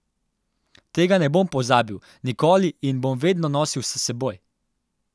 Tega ne bom pozabil nikoli in bom vedno nosil s seboj!